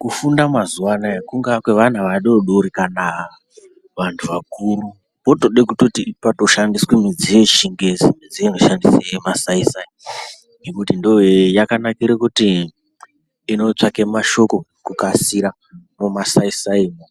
Kufunda mazuva anaya kungaa kweana adodori kana antu akuru. Potode kutoti patoshandiswe mudziyo yechingezi midziyo inoshandise masai-sai. Nekuti ndoye yakanakire kuti inotsvake mashoko kukasira mumasai-saimo.